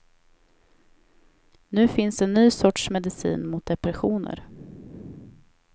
Nu finns en ny sorts medicin mot depressioner.